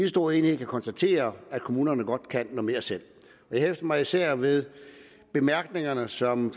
stor enighed kan konstatere at kommunerne godt kan mere selv jeg hæfter mig især ved bemærkningerne som